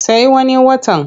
Sai wani watan.